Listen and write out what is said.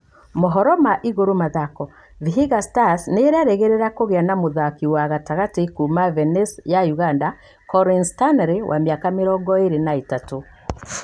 ( Mohoro ma Igũrũ Mathako) Vihiga Stars nĩ ĩrerĩgĩria kũgĩa na mũthaki wa gatĩgatĩ kuuma Venace ya Ũganda, Collins Stanley, wa miaka mĩrongo ĩrĩ na ithatũ.